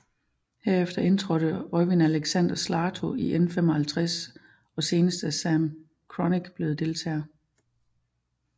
Herefter indtrådte Øivind Alexander Slaatto i N55 og senest er Sam Kronick blevet deltager